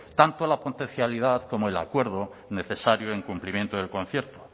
tanto la como el acuerdo necesario en cumplimiento del concierto